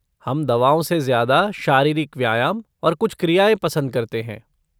हम दवाओं से ज्यादा शारीरिक व्यायाम और कुछ क्रियाएँ पसंद करते हैं।